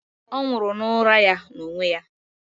Ọ nwụrụ n'ụra ya n'onwe ya.